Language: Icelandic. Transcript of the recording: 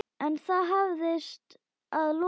En það hafðist að lokum.